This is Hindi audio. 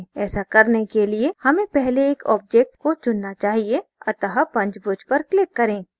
ऐसा करने के लिए हमें पहले एक object को चुनना चाहिए अतः पंचभुज पर click करें